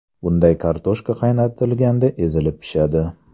Bunday kartoshka qaynatilganda ezilib pishadi.